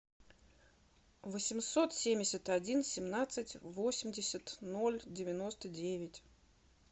восемьсот семьдесят один семнадцать восемьдесят ноль девяносто девять